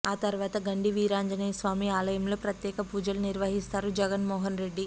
ఆ తర్వాత గండి వీరాంజనేయ స్వామి ఆలయంలో ప్రత్యేక పూజలు నిర్వహిస్తారు జగన్ మోహన్ రెడ్డి